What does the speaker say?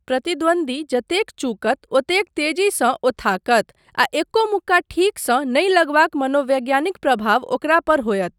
प्रतिद्वन्द्वी जतेक चूकत ओतेक तेजीसँ ओ थाकत आ एको मुक्का ठीकसँ नहि लगबाक मनोवैज्ञानिक प्रभाव ओकरा पर होयत।